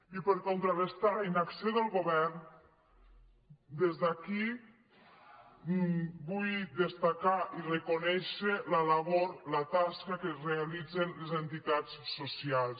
i per contrarestar la inacció del govern des d’aquí vull destacar i reconèixer la labor la tasca que realitzen les entitats socials